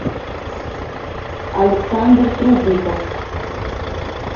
александр трубников